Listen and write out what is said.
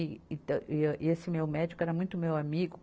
E, e tam, e esse meu médico era muito meu amigo.